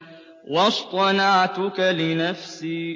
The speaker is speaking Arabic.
وَاصْطَنَعْتُكَ لِنَفْسِي